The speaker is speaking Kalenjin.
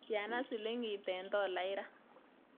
Tiana silingit eng' tolait raa